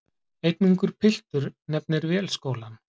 Einn ungur piltur nefnir Vélskólann.